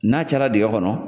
N'a cayara dingɛ kɔnɔ,